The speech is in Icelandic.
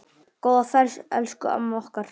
Góða ferð, elsku amma okkar.